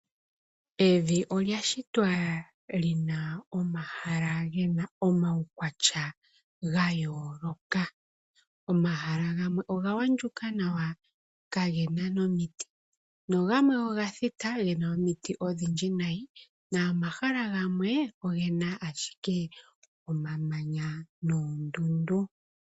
Evi olya shitwa lina omaukwatya gayooloka . Omahala gamwe ogaandjuka nawa, kagena momiti, nogamwe oga thita gena nomiti odhindji momahala gamwe ogena ashike omamanya noondundu.